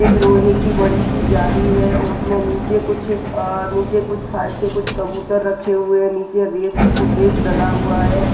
एक लोहे की बड़ी सी जाली हैं उसमें नीचे कुछ अ नीचे कुछ सायद से कुछ कबूतर रखे हुए हैं नीचे रेत रेत डला हुआ हैं।